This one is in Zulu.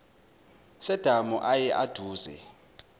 sedamu ayi aduze